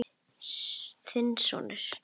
Þinn sonur, Friðjón Már.